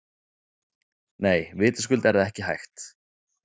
Nei, vitaskuld er það ekki hægt.